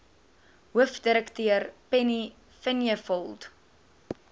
hoofdirekteur penny vinjevold